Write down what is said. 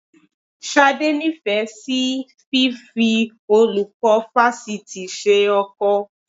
Ṣadé nífẹ̀ẹ́ sí fífi olùkọ́ fásitì ṣe ọkọ